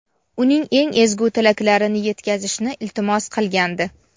uning eng ezgu tilaklarini yetkazishni iltimos qilgandi.